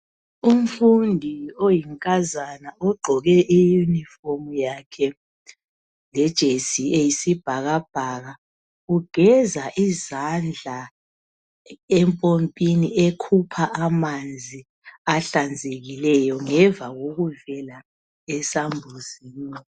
Umfundi oyinkazana ogqoke iyunifomu yakhe lejesi eyisibhakabhaka. Igeza izandla empompini ekhupha amanzi ahlanzekileyo ngemva kokuvela esambuzini .